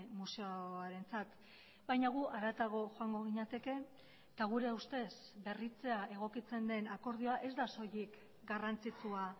museoarentzat baina gu haratago joango ginateke eta gure ustez berritzea egokitzen den akordioa ez da soilik garrantzitsua